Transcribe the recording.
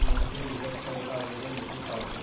நெஞ்சில் மிகுந்துள்ள அவனுடைய முகம் காட்டும்